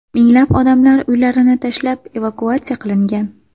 Minglab odamlar uylarini tashlab, evakuatsiya qilingan.